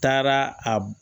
Taara a